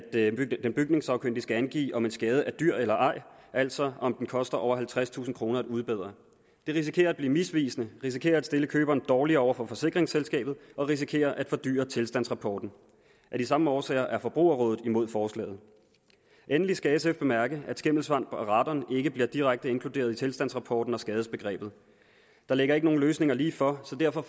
den bygningssagkyndige skal angive om en skade er dyr eller ej altså om den koster over halvtredstusind kroner at udbedre det risikerer at blive misvisende og risikerer at stille køberen dårligere over for forsikringsselskabet og risikerer at fordyre tilstandsrapporten af de samme årsager er forbrugerrådet imod forslaget endelig skal sf bemærke at skimmelsvamp og radon ikke bliver direkte inkluderet i tilstandsrapporten og skadesbegrebet der ligger ikke nogen løsninger lige for så derfor